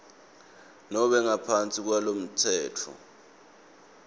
nobe ngaphansi kwalomtsetfo